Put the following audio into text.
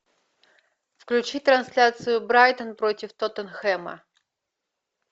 включи трансляцию брайтон против тоттенхэма